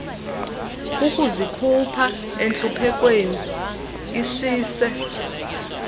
ukuzikhupha entluphekweni isise